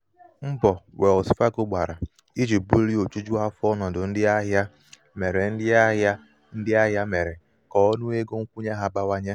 )mbọ wells fagọ gbara iji bulie ojuju afọ ọnọdụ ndị ahịa mere ndị ahịa mere ka um ọnụ ego nkwunye ha bawanye.